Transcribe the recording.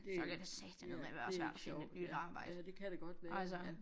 Det det er det ikke sjovt ja ja det kan det godt være ja